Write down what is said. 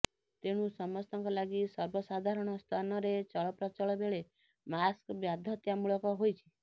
ତେଣୁ ସମସ୍ତଙ୍କ ଲାଗି ସର୍ବସାଧାରଣ ସ୍ଥାନରେ ଚଳପ୍ରଚଳ ବେଳେ ମାସ୍କ ବାଧ୍ୟତା ମୂଳକ ହୋଇଛି